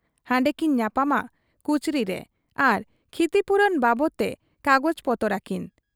ᱦᱟᱸᱰᱮᱠᱤᱱ ᱧᱟᱯᱟᱢᱟ ᱠᱩᱪᱨᱤ ᱨᱮ ᱟᱨ ᱠᱷᱤᱛᱤᱯᱩᱨᱚᱱ ᱵᱟᱵᱚᱫᱽᱛᱮ ᱠᱟᱜᱚᱡᱽ ᱯᱚᱛᱚᱨ ᱟᱹᱠᱤᱱ ᱾